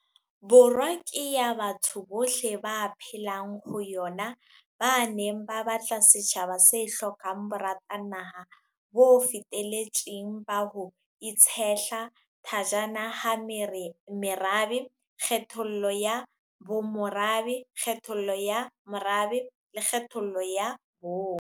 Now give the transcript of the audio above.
Borwa ke ya batho bohle ba phelang ho yona, ba ne ba batla setjhaba se hlokang boratanaha bo feteletseng ba ho itshehla thajana ha merabe, kgethollo ya bomorabe, kgethollo ya morabe le kgethollo ya bong.